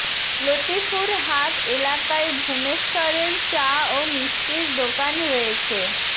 লতিফুর হাট এলাকায় ভূমেশ্বরের চা ও মিষ্টির দোকান রয়েছে